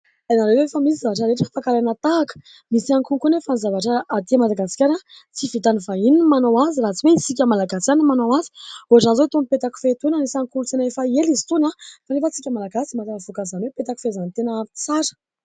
Hainareo fa misy ny zavatra rehetra afaka alaina tahaka ? Misy ihany koa koa anefa ny zavatra aty Madagasikara tsy vitan'ny vahiny ny manao azy raha tsy hoe isika Malagasy ihany no manao azy. Ohatr'izany izao itony petakofehy itony anisan'ny kolontsaina efa ela izy itony kanefa isika Malagasy mahatafavoaka an'izany hoe petakofehy izany tena tsara.